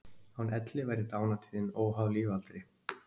Án elli væri dánartíðnin óháð lífaldri.